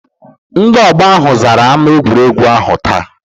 Ndị ọgbọ ahụ zara ámá egwuregwu ahụ taa.